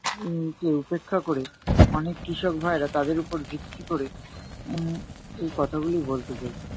উম কে উপেক্ষা ক'রে, অনেক কৃষক ভাইয়েরা তাদরে ওপর ভিত্তি কোরে, উম এই কথাগুলিই বলতে চাই।